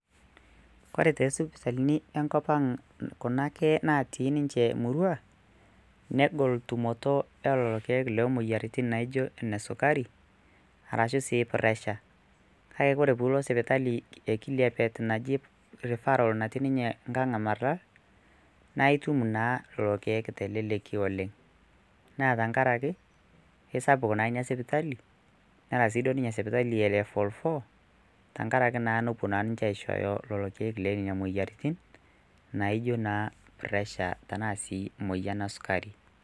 kore tesipitalini enkop ang kunake natii ninche murua negol tumoto elelo keek loo moyiaritin naijo enesukari arashu sii pressure kake kore pulo sipitali ekiliapet naji refferal natii ninye nkang e marlal naitum naa lelo keek teleleki oleng naa tenkarake keisapuk naa inia sipitali nera siduo ninye sipitali e level 4 tenkarake naa nepuo ninche aishooyo lolo keek lee nena moyiaritin naijo naa pressure tenaa sii moyian esukari.